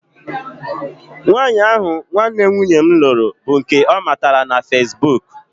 Nwaanyị ahụ nwanne nwunye m lụrụ bụ nke ọ matara na feesbuk